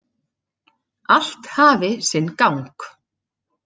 Allt hafi sinn gang.